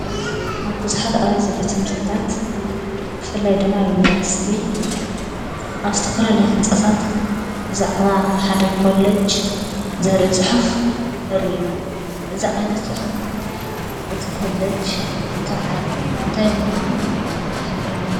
ኣብ ቡዙሓት ኣብያተ ቤት ትምሀርትታት ብፍላይ ድማ ኣብ ዩኒቨርስቲ ኣብ ዝተፈላለዩ ህንፃታት ብዛዕባ ሓደ ኮለጅ ዘርኢ ፅሑፍ ንርኢ ኢና። እዚ ዓይነት ፅሑፍ እቲ ኮለጅ እንታይ ምኳኑ ይሕብረና።